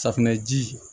Safunɛji